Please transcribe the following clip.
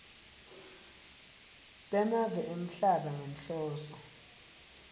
bemave emhlaba ngenhloso